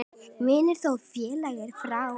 Vinur þó féllir frá.